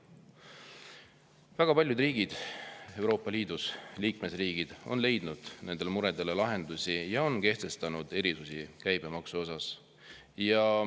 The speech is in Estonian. Väga paljud riigid Euroopa Liidus on leidnud nendele muredele lahendusi ja on kehtestanud käibemaksuerisusi.